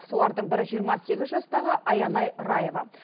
солардың бірі жиырма сегіз жастағы аянай раева